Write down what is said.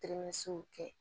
kɛ